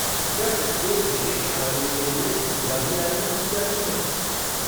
क्या प्रत्येक विशेष आयोजन के लिए पूजा भी आयोजित की जाती है?